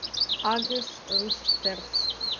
адрес рустерс